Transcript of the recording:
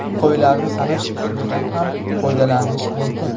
Qo‘ylarni sanash usulidan ham foydalanish mumkin.